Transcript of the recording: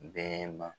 Bɛɛ ma